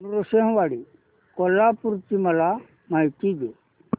नृसिंहवाडी कोल्हापूर ची मला माहिती दे